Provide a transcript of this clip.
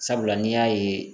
Sabula n'i y'a ye